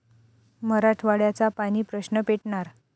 मराठवाड्याचा पाणी प्रश्न पेटणार?